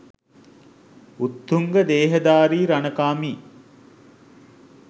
උත්තුංග දේහධාරී රණකාමී